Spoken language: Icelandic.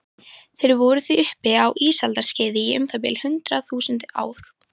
Þeir voru því uppi á ísaldarskeiði í um það bil hundrað þúsund ár.